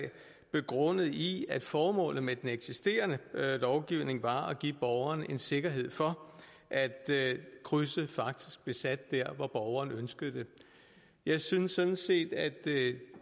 begrundet i at formålet med den eksisterende lovgivning var at give borgeren en sikkerhed for at krydset faktisk blev sat der hvor borgeren ønskede det jeg synes sådan set at